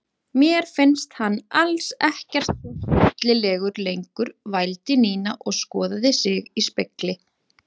Mér finnst hann alls ekkert svo hryllilegur lengur vældi Nína og skoðaði sig í spegli.